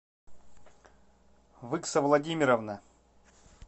выкса владимировна